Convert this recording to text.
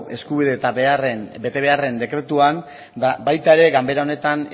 eskubide eta betebeharren dekretuan eta baita ere ganbera honetan